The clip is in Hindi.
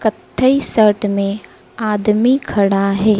कत्थई शर्ट में आदमी खड़ा हैं।